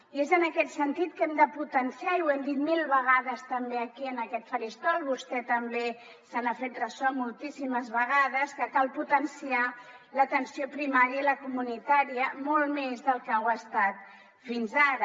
i és en aquest sentit que hem de potenciar i ho hem dit mil vegades també aquí en aquest faristol vostè també se n’ha fet ressò moltíssimes vegades l’atenció primària i la comunitària molt més del que ho han estat fins ara